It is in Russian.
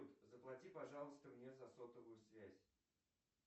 заплати пожалуйста мне за сотовую связь